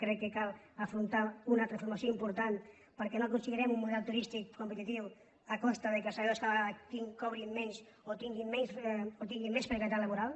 crec que cal afrontar una transformació important perquè no aconseguirem un model turístic competitiu a costa que els treballadors cada vegada cobrin menys o tinguin més precarietat laboral